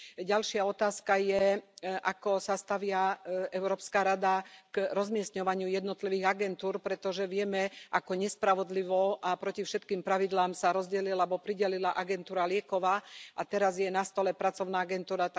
Ďalšia otázka je, ako sa stavia Európska rada k rozmiestňovaniu jednotlivých agentúr, pretože vieme, ako nespravodlivo a proti všetkým pravidlám sa rozdelila alebo pridelila Agentúra pre lieky, a teraz je na stole pracovná agentúra.